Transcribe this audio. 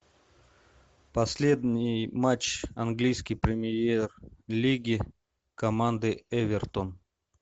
последний матч английской премьер лиги команды эвертон